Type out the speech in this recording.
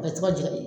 A bɛ to ka ja de